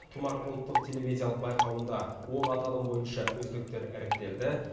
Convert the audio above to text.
тұмар ұлттық телевизиялық байқауында он аталым бойынша үздіктер іріктелді